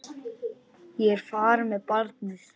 Ég er farin með barnið!